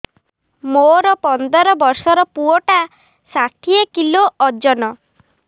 ମୋର ପନ୍ଦର ଵର୍ଷର ପୁଅ ଟା ଷାଠିଏ କିଲୋ ଅଜନ